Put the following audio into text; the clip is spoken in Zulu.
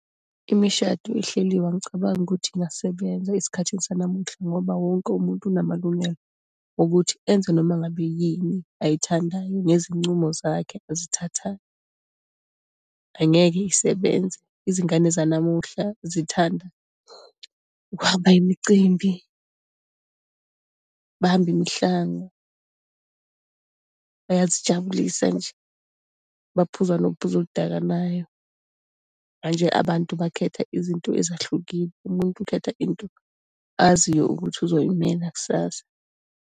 Imishado ehleliwe angicabangi ukuthi ingasebenza esikhathi sanamuhla, ngoba wonke umuntu unamalungelo wokuthi enze noma ngabe yini ayithandayo ngezincumo zakhe azithathayo. Angeke isebenze, izingane zanamuhla zithanda ukuhamba imicimbi, bahambe imihlanga, bayazijabulisa nje, baphuza nophuzo oludakanayo. Manje abantu bakhetha izinto ezahlukile, umuntu ukhetha into aziyo ukuthi uzoyimela kusasa.